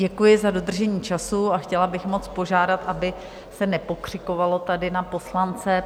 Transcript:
Děkuji za dodržení času a chtěla bych moc požádat, aby se nepokřikovalo tady na poslance.